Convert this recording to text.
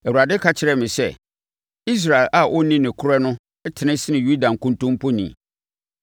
Awurade ka kyerɛɛ me sɛ, “Israel a ɔnni nokorɛ no tene sene Yuda nkontompo ni.